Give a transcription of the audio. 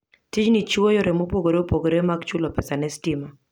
Tijni chiwo yore mopogore opogore mag chulo pesa ne stima.